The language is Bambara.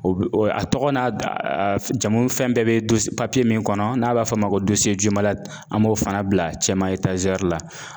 O bi o tɔgɔ n'a jamu fɛn bɛɛ bɛ don papiye min kɔnɔ, n'a b'a fɔ a ma ko an b'o fana bila cɛmancɛ la.